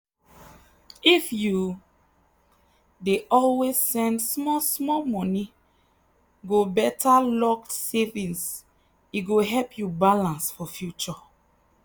if you dey always send small small money go better locked savings e go help you balance for future.